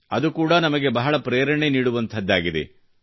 ಅದು ಕೂಡಾ ನಮಗೆ ಬಹಳ ಪ್ರೇರಣೆ ನೀಡುವಂಥದ್ದಾಗಿದೆ